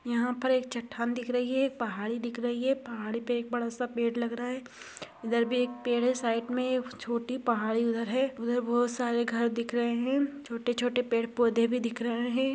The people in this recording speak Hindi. यहा पर एक चट्टान दिख रही है। पहाड़ी दिख रही है। पहाड़ी पे एक बड़ा सा पेड़ लग रहा है। इधर भी एक पेड़ है। साइड मे एक छोटी पहाड़ी उधर है। उधर बोहोत सारे घर दिख रहे है। छोटे छोटे पेड़ पोधे भी दिख रहे है।